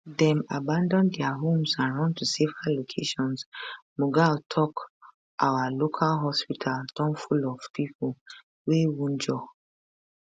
dem abandon dia homes and run to safer locations mughal tok our local hospital don full of pipo wey wunjure